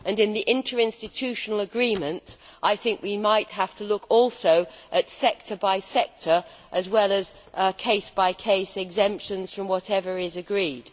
In the interinstitutional agreement I think we might also have to look at sector by sector as well as case by case exemptions from whatever is agreed.